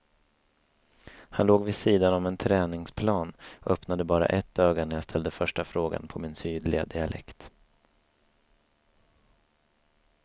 Han låg vid sidan om en träningsplan och öppnade bara ett öga när jag ställde första frågan på min sydliga dialekt.